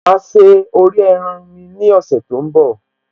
Máa se orí ẹran mi ní ọ̀sẹ̀ tó ń bọ̀